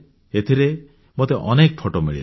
ଏଥିରେ ମୋତେ ଅନେକ ଫଟୋ ମିଳିଲା